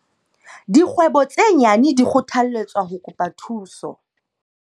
Dikgwebo tse nyane di kgothalletswa ho kopa thuso.